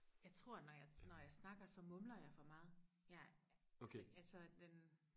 jeg tror når jeg når jeg snakker så mumler jeg for meget jeg altså altså den